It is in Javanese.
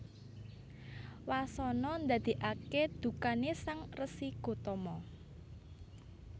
Wasana ndadèkaké dukané Sang Resi Gotama